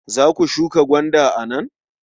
Za ku shuka gwanda a nan?